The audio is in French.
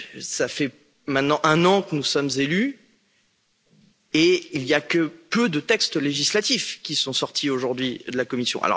Cela fait maintenant un an que nous sommes élus et il n'y a que peu de textes législatifs qui sont sortis aujourd'hui de la Commission.